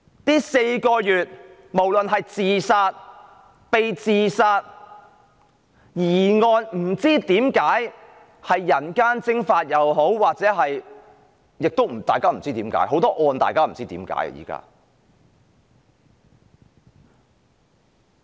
這4個月以來，無論是自殺、被自殺、疑案，包括很多人不知何解而人間蒸發，現在很多案件都是大家不明所以的。